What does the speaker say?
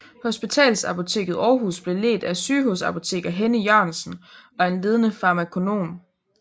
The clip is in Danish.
Hospitalsapoteket Aarhus blev ledt af sygehusapoteker Henny Jørgensen og en ledende farmakonom